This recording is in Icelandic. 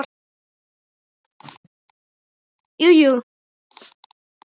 Bæjarar að rumska?